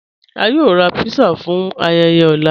À yóò rà pizza fún ayéyé ọ̀lá.